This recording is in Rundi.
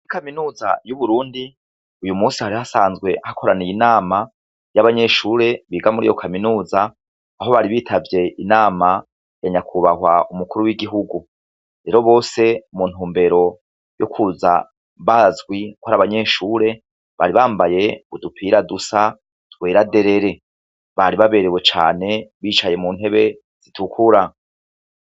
Mu kaminuza y'uburundi uyu musi hari hasanzwe hakoraniye inama y'abanyeshure biga muri yo kaminuza aho bari bitavye inama yanyakubahwa umukuru w'igihugu rero bose muntu mbero y'ukwuza bazwi ko ari abanyeshure bari bambaye udupira dusa twerade rere bari baberewe cane bicaye mu ntebe zitukura.